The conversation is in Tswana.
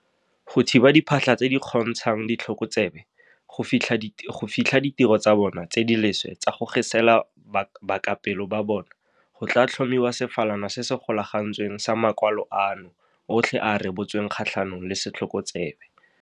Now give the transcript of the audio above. Go thiba diphatlha tse di kgontshang ditlhokotsebe go fitlha ditiro tsa bona tse di leswe tsa go gesela bakapelo ba bona, go tla tlhomiwa sefalana se se golagantsweng sa makwalo ano otlhe a a rebotsweng kgatlhanong le setlhokotsebe.